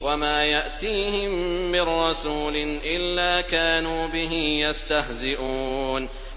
وَمَا يَأْتِيهِم مِّن رَّسُولٍ إِلَّا كَانُوا بِهِ يَسْتَهْزِئُونَ